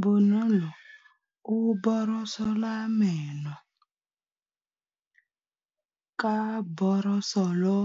Bonolô o borosola meno ka borosolo